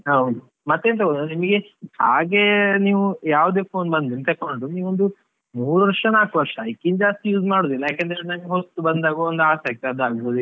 ಹೌದು, ಮತ್ತೆಂತ ಗೊತ್ತಾ ನಿಮ್ಗೆ ಹಾಗೆ ನೀವು ಯಾವದೇ phone ಬಂದ್ರು ತಕೊಂಡ್ರು ನೀವು ಒಂದು ಮೂರು ವರ್ಷ, ನಾಲ್ಕು ವರ್ಷ ಅದಕ್ಕಿಂತ ಜಾಸ್ತಿ use ಮಾಡುದಿಲ್ಲ ಯಾಕೆಂದ್ರೆ ಹೊಸ್ತು ಬಂದಾಗ ಒಂದು ಆಸೆ ಆಗ್ತದೆ ಅದು ಆಗ್ಬೋದು ಇದು ಆಗ್ಬೋದು.